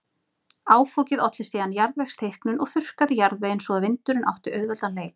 Áfokið olli síðan jarðvegsþykknun og þurrkaði jarðveginn svo að vindurinn átti auðveldan leik.